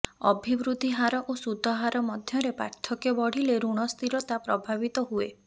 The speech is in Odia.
ଅଭିବୃଦ୍ଧି ହାର ଓ ସୁଧହାର ମଧ୍ୟରେ ପାର୍ଥକ୍ୟ ବଢିଲେ ଋଣ ସ୍ଥିରତା ପ୍ରଭାବିତ ହୁଏ